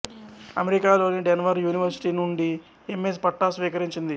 అమెరికాలోని Denver university నుండి M S పట్టా స్వీకరించింది